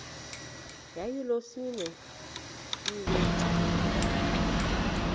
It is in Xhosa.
yayilolwesine iwe cawa